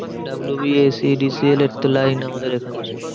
WBSEDCL এর তো line আমাদের এখানে।